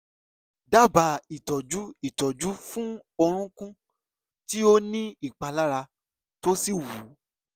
dábàá ìtọ́jú ìtọ́jú fún orúnkún tí ó ní ìpalára tó sì wú